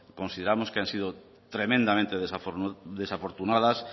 consideramos que han sido tremendamente desafortunadas